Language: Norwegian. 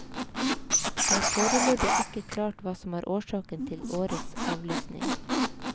Det er foreløpig ikke klart hva som er årsaken til årets avlysning.